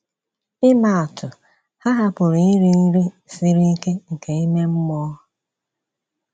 Ịmaa atụ, ha hapụrụ iri nri siri ike nke ime mmụọ..